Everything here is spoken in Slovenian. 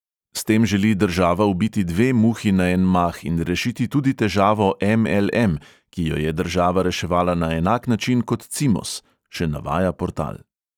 "S tem želi država ubiti dve muhi na en mah in rešiti tudi težavo em|el|em, ki jo je država reševala na enak način kot cimos," še navaja portal.